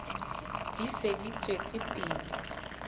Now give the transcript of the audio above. di se di tswetse pele